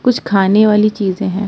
कुछ खाने वाली चीज हैं।